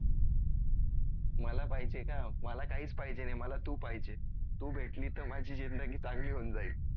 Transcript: मला पाहिजे का मला काहीच पाहिजे नाही मला तू पाहिजे. तू भेटली तर माझी जिंदगी चांगली होऊन जाईल